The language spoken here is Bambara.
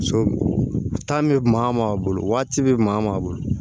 So bɛ maa min bolo waati bɛ maa bolo